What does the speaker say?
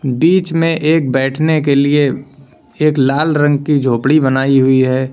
बीच में एक बैठने के लिए एक लाल रंग की झोपड़ी बनाई हुई है।